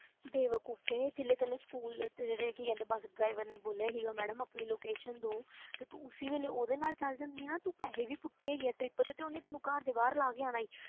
ਬੇਵਕੂਫ਼ੇ ਜਦੋਂ ਤੈਨੂੰ ਸਕੂਲ ਰੇ ਕੀ ਕਹਿੰਦੇ ਬੱਸ driver ਨੇ ਬੋਲਿਆ ਸੀਗਾ madam ਆਪਣੀ location ਦਓ ਤੇ ਉਸੇ ਵੇਲੇ ਉਹਦੇ ਨਾਲ ਚਲੇ ਜਾਂਦੀ ਨਾ, ਤੂੰ ਪੈਸੇ ਵੀ ਪੁੱਟੇ ਹੈਗੇ ਆ trip ਤੇ, ਤੇ ਉਹਨੇ ਤੈਨੂੰ ਘਰ ਦੇ ਬਾਹਰ ਲਾ ਕੇ ਆਉਣਾ ਸੀ,